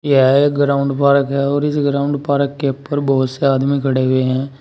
यह एक ground park है और इस ग्राउंड पार्क के ऊपर बहुत से आदमी खड़े हुए हैं।